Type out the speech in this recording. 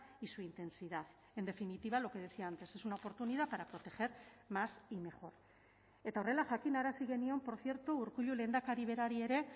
y su intensidad en definitiva lo que decía antes es una oportunidad para proteger más y mejor eta horrela jakinarazi genion por cierto urkullu lehendakari berari ere